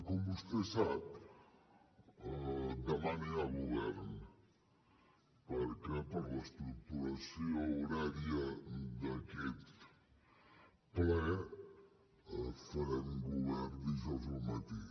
com vostè sap demà no hi ha govern perquè per l’estructuració horària d’aquest ple farem govern dijous al matí